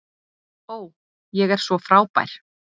Ó, ég er svo frábær.